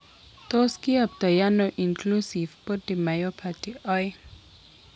Tos kiyoptoi ano Inclusion body myopathy 2?